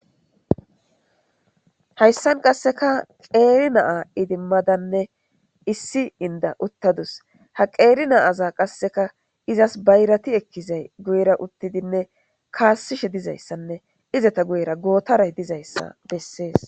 Hayssan qasseka qeeri naa idimmadanne issi inda uttadus ha qeeri naaza qasseka izas bayrati ekkizay guyra uttidinne kaassishe dizayssanne izata guyra gootaray dizayssa bessees.